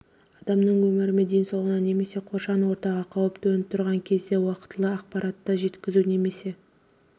адамның өмірі мен денсаулығына немесе қоршаған ортаға қауіп төніп тұрған кезде уақытылы ақпаратты жеткізу немесе